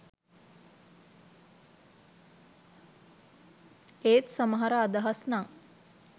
ඒත් සමහර අදහස් නං